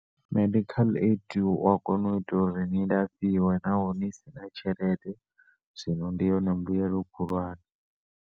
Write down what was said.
Medical aid u ya kona u ita uri ni lafhiwe na ho ni sina tshelede, zwino ndi yone mbuelo khulwane.